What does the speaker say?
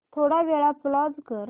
थोडा वेळ पॉझ कर